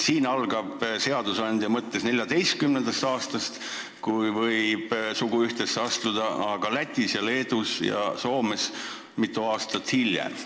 Siin lubab seadusandja 14-aastaselt suguühtesse astuda, aga Lätis, Leedus ja Soomes mitu aastat hiljem.